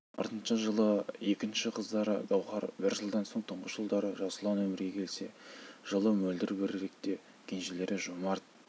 артынша жылы екінші қыздары гаухар бір жылдан соң тұңғыш ұлдары жасұлан өмірге келсе жылы мөлдір беріректе кенжелері жомарт